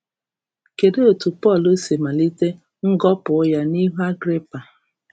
Kedụ etu Pọl si malite ngọpụ ya n’ihu Agrịpa?